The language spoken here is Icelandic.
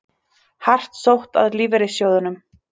Hart sótt að lífeyrissjóðunum